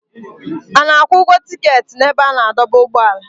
A na-akwụ ụgwọ tiketi n'ebe a na-adọba ụgbọala.